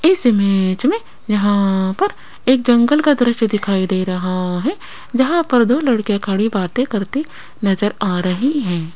इस इमेज में यहां पर एक जंगल का दृश्य दिखाइ दे रहा है जहां पर दो लड़के खड़े बातें करते नजर आ रही हैं।